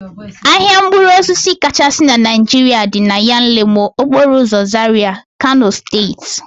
Ahịa mkpụrụosisi kachasị na Naijiria dị na Yanlemo, okporoụzọ Zaria, Kano steeti